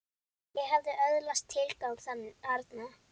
Ég hafði öðlast tilgang þarna.